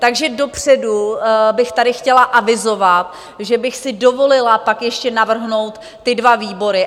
Takže dopředu bych tady chtěla avizovat, že bych si dovolila pak ještě navrhnout ty dva výbory.